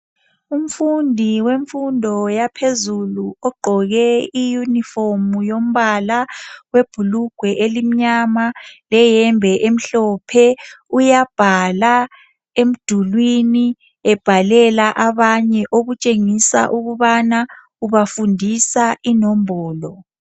Umfundi wemfundo yaphezulu ogqoke iuniform yombala webhulugwe elimnyama leyembe emhlophe. Uyabhala emdulwini, ebhalela abanye okutshengisa ukubana ubafundisa inombolo